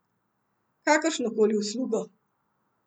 Kakršnokoli uslugo.